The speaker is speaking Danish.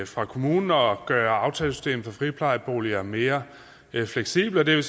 fra kommunen og gøre aftalesystemet for friplejeboliger mere fleksibelt og det